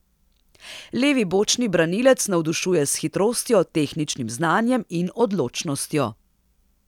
Levi bočni branilec navdušuje s hitrostjo, tehničnim znanjem in odločnostjo.